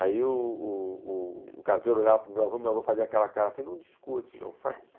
Aí o caseiro olhava para o meu avô, meu avô fazia aquela cara assim, não discute, não faz isso